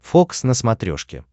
фокс на смотрешке